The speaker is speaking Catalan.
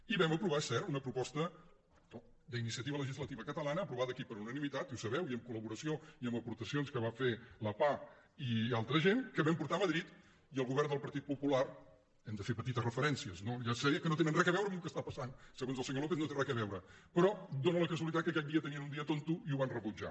i vam aprovar és cert una proposta d’iniciativa legislativa catalana aprovada aquí per unanimitat i ho sabeu i amb col·laboració i amb aportacions que va fer la pah i altra gent que vam portar a madrid i el govern del partit popular hi hem de fer petites referències no ja sé que no tenen res a veure amb el que està passant se·gons el senyor lópez no hi té res a veure però dó·na la casualitat que aquell dia tenien un dia tonto i ho van rebutjar